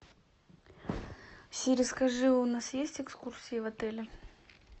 сири скажи у нас есть экскурсии в отеле